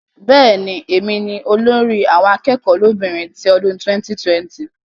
Bẹ́ẹ̀ni, olórí àwọn akẹ́kọ̀ọ́ lóbìnrin ti ọdún 2020